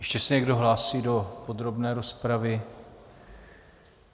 Ještě se někdo hlásí do podrobné rozpravy?